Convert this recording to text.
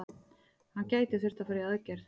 Hann gæti þurft að fara í aðgerð.